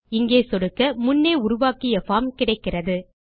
இங்கே சொடுக்க முன்னே உருவாக்கிய பார்ம் கிடைக்கிறது